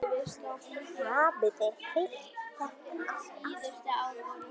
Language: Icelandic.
Hafið þið heyrt þetta aftur?